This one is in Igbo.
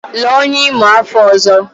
Lụọ onye Imo afọ ọzọ!